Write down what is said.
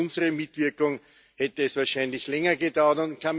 Ohne unsere Mitwirkung hätte es wahrscheinlich länger gedauert.